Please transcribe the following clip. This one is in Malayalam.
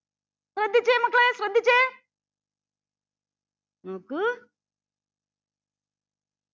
ശ്രദ്ധിച്ചേ മക്കളെ ശ്രദ്ധിച്ചേ നോക്കൂ